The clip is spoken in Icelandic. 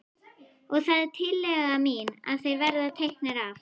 Og það er tillaga mín að þeir verði teknir af.